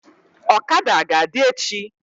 Ọkada aga adị echi?